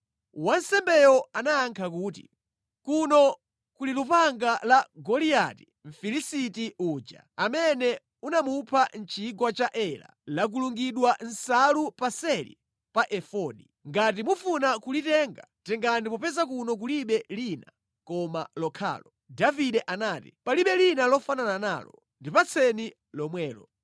Wansembeyo anayankha kuti, “Kuno kuli lupanga la Goliati Mfilisiti uja amene unamupha mʼchigwa cha Ela, lakulungidwa mʼnsalu paseli pa Efodi. Ngati mufuna kulitenga, tengani popeza kuno kulibe lina koma lokhalo.” Davide anati, “Palibe lina lofanana nalo. Ndipatseni lomwelo.”